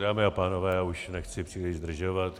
Dámy a pánové, už nechci příliš zdržovat.